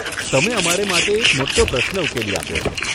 તમે અમારે માટે એક મોટો પ્રશ્ન ઉકેલી આપ્યો છે.